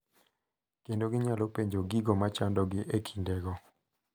Kendo ginyalo penjo gigo machandogi e kindego.